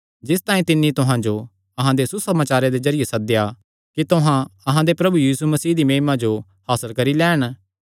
जिस तांई तिन्नी तुहां जो अहां दे सुसमाचारे दे जरिये सद्देया कि तुहां अहां दे प्रभु यीशु मसीह दी महिमा जो हासल करी लैन